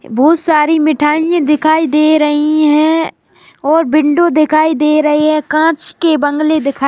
बहुत सारी मिठाइयां दिखाई दे रही हैं और विंडो दिखाई दे रही है कांच के बंगले दिखाई--